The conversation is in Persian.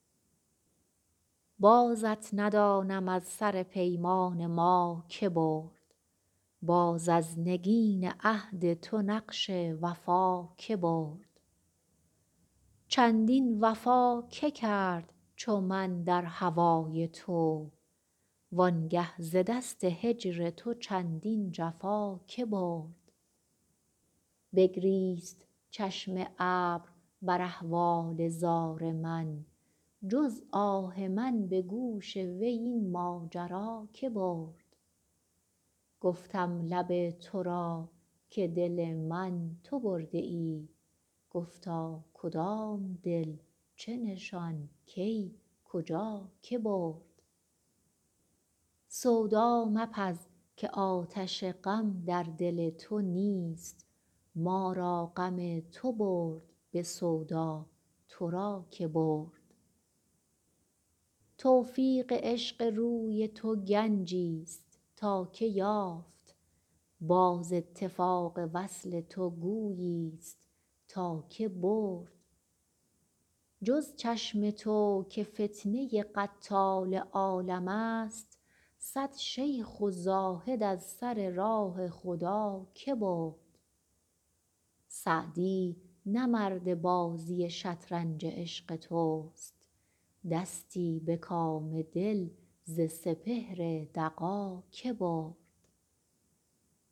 بازت ندانم از سر پیمان ما که برد باز از نگین عهد تو نقش وفا که برد چندین وفا که کرد چو من در هوای تو وان گه ز دست هجر تو چندین جفا که برد بگریست چشم ابر بر احوال زار من جز آه من به گوش وی این ماجرا که برد گفتم لب تو را که دل من تو برده ای گفتا کدام دل چه نشان کی کجا که برد سودا مپز که آتش غم در دل تو نیست ما را غم تو برد به سودا تو را که برد توفیق عشق روی تو گنجیست تا که یافت باز اتفاق وصل تو گوییست تا که برد جز چشم تو که فتنه قتال عالمست صد شیخ و زاهد از سر راه خدا که برد سعدی نه مرد بازی شطرنج عشق توست دستی به کام دل ز سپهر دغا که برد